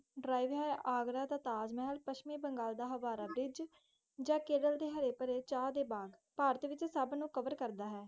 ਆਗਰਾ ਦਾ ਤਾਜ ਮਹਲ, ਪਸਮੀ ਬੰਗਾਲ ਦਾ ਹਵਾਰਾ ਬ੍ਰਿਜ, ਕੇਰਲ ਦੇ ਹਾਰੇ ਪਰੇ ਚੱਚ ਡੇ ਬੈਗ ਪਾਰਟੀ ਸਬ ਨੂੰ ਕਵਰ ਕਰਦਾ ਹੈ